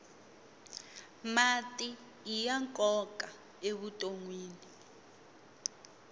mati iya nkoka evutonwini